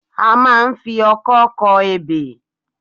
A máa ń ń fi ọkọ́ kọ ebè.